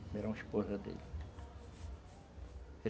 Primeira, uma esposa dele.